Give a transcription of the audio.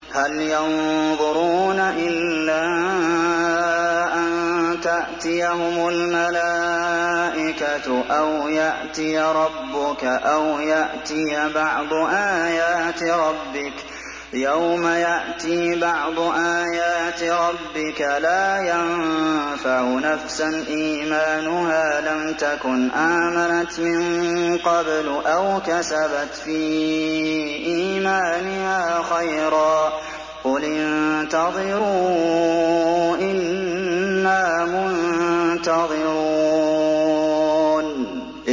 هَلْ يَنظُرُونَ إِلَّا أَن تَأْتِيَهُمُ الْمَلَائِكَةُ أَوْ يَأْتِيَ رَبُّكَ أَوْ يَأْتِيَ بَعْضُ آيَاتِ رَبِّكَ ۗ يَوْمَ يَأْتِي بَعْضُ آيَاتِ رَبِّكَ لَا يَنفَعُ نَفْسًا إِيمَانُهَا لَمْ تَكُنْ آمَنَتْ مِن قَبْلُ أَوْ كَسَبَتْ فِي إِيمَانِهَا خَيْرًا ۗ قُلِ انتَظِرُوا إِنَّا مُنتَظِرُونَ